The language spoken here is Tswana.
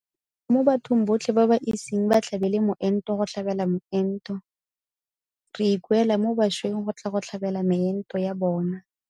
Mo bathong botlhe ba ba iseng ba tlhabele moento go tlhabela moento. Re ikuela mo bašweng go tla go tlhabela meento ya bona.